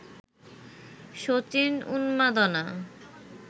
সচিন-উন্মাদনা